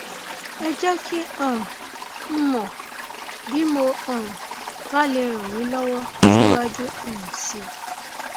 ẹ jẹ kí um n mọ bí mo um bá lè ràn yín lọwọ síwájú um sí i